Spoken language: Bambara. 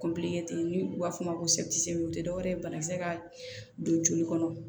ten n'u b'a f'o ma ko o tɛ dɔwɛrɛ ye banakisɛ ka don joli kɔnɔ